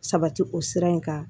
Sabati o sira in kan